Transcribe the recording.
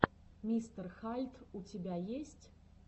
мистер хальд у тебя есть